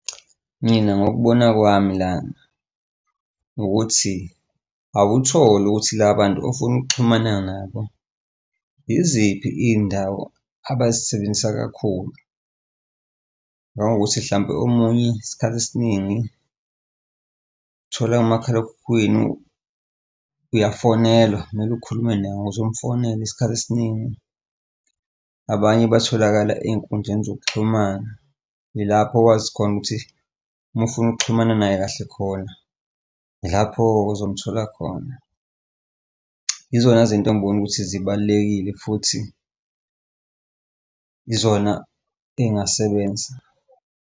Mina ngokubona kwami lana ukuthi awuthole ukuthi la bantu ofuna ukuxhumana nabo, yiziphi iy'ndawo abazisebenzisa kakhulu? Nawukuthi hlampe omunye isikhathi esiningi uthola umakhalekhukhwini, uyafonelwa mele ukhulume naye uzumfonele isikhathi esiningi. Abanye batholakala ey'nkundleni zokuxhumana, ilapho okwazi khona ukuthi uma ufuna ukuxhumana naye kahle khona ilapho-ke ozomthola khona. Yizona zinto engiboni ukuthi zibalulekile futhi yizona ey'ngasebenza.